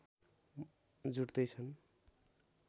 जुट्दै छन्